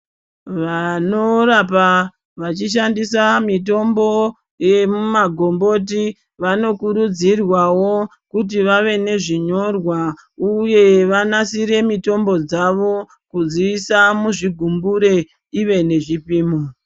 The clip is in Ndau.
Wanorapa weishandisa mitombo yemuma gomboti, wanokurudzirwawo kuti wawe nezvinyorwa uye wanasire mitombo dzawo kudziisa muzvi gumbure uye nezvipimo.